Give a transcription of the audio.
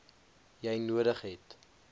jy nodig het